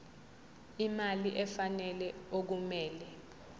imali efanele okumele